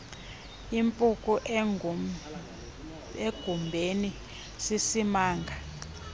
impuku emgubeni sisimanga